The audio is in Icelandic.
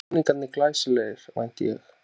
Og búningarnir glæsilegir vænti ég?